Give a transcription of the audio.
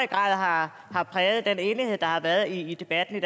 grad har præget den enighed der har været i debatten i